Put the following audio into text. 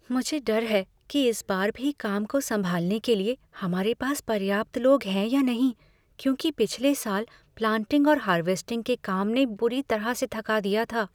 "मुझे डर है कि इस बार भी काम को संभालने के लिए हमारे पास पर्याप्त लोग हैं या नहीं, क्योंकि पिछले साल प्लांटिंग और हार्वेस्टिंग के काम ने बुरी तरह से थका दिया था।